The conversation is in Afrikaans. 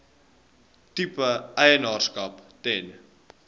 tipe eienaarskap ten